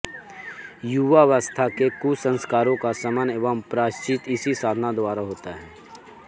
युवावस्था के कुसंस्कारों का शमन एवं प्रायश्चित इसी साधना द्वारा होता है